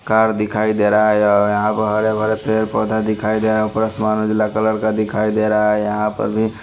car दिखाई दे रहा है दिखाई दे रहे ऊपर आसमान नीला कलर का दिखाई दे रहा है यहा पर भी--